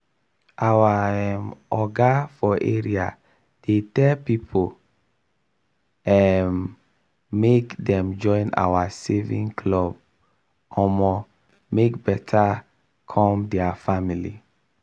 our um oga for area dey tell people um make dem join our saving club club omo make beta come dier family.